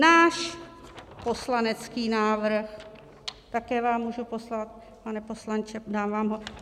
Náš poslanecký návrh... také vám můžu poslat, pane poslanče, dám vám ho.